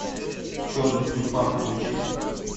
черный тюльпан включи